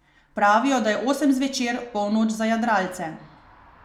Pravijo, da je osem zvečer polnoč za jadralce.